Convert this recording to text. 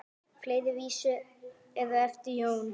Fleiri vísur eru eftir Jón